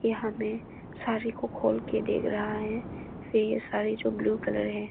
यहां में साड़ी को खोल के देख रहा है फिर ये साड़ी जो ब्ल्यू कलर है।